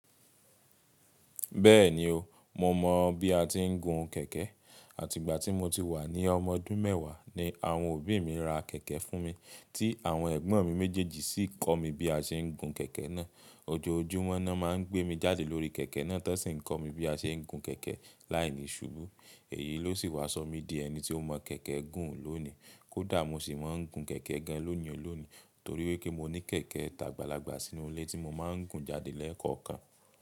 Bẹ́ẹ̀ni o, mo mọ̀ bí a ti ń gun kẹ̀kẹ́. Àti ìgbà tí mo ti wà ní ọmọ ọdún mẹ́wàá ni àwọn òbí mi ra kẹ̀kẹ́ fún mi, tí àwọn ẹ̀gbọ́n mi méjèèjì sì kọ́ mi bí a ṣe ń gun kẹ̀kẹ́ náà. Ojoojúmọ́ ná máa ń gbé mi jáde lórí kẹ̀kẹ́ náà tán ṣe ń kọ́ mi bí a ṣe ń gun kẹ̀kẹ́ láìní ṣubú. Èyí ló sì wá sọ mí di ẹni tí ó mọ kẹ̀kẹ́ gùn lónìí. Kódà mo sì máa ń gun kẹ̀kẹ́ gan ní ìhòòhò lónìí torí wí pé mo ní kẹ̀kẹ́ tàgbàlagbà sínú ilé tí mo máa ń gun jáde lẹ́ẹ̀kọ̀kan.